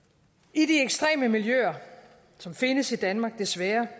i de ekstreme miljøer som findes i danmark desværre